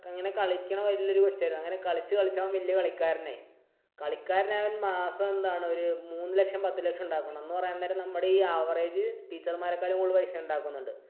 ഇങ്ങനെ കളിക്കുന്ന വലിയൊരു വ്യക്തിയായിരുന്നു. അങ്ങനെ കളിച്ചുകളിച്ച് അവൻ വലിയൊരു കളിക്കാരനായി. കളിക്കാരനായ അവൻ മാസം എന്താണ്? ഒരു മൂന്ന് ലക്ഷം പത്തു ലക്ഷം ഉണ്ടാക്കുന്നുണ്ട്. എന്ന് പറയാൻ നേരം നമ്മുടെ average teacher മാരെക്കാട്ടിലും കൂടുതൽ paisa ഉണ്ടാക്കുന്നുണ്ട്.